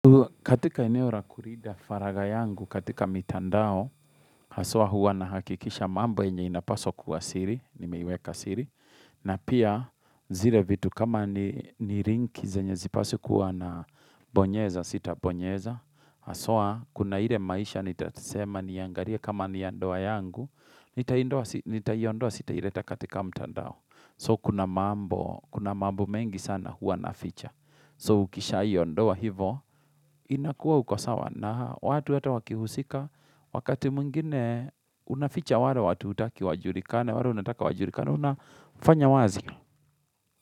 Katika eneu ra kurida faraga yangu, katika mitandao, haswa hua na hakikisha mambo enye inapaso kuwa siri, nimeiweka siri. Na pia, zile vitu kama ni rink zenye zipaswi kuwa nabonyeza, sita bonyeza. Haswa, kuna ire maisha, nita sema niangaria kama ni ya ndoa yangu, nitaiondoa sita ireta katika mitandao. So, kuna mambo, kuna mambo mengi sana hua naficha. So ukisha hiyo ndoa hivo, inakuwa ukosawa na watu yata wakihusika, wakati mwingine unaficha wale watu hutaki wajurikane, wala unataka wajurikane, unafanya wazi.